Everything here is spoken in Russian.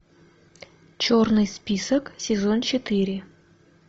черный список сезон четыре